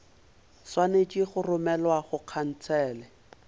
swanetše go romelwa go khansele